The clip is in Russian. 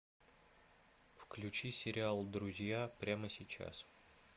включи сериал друзья прямо сейчас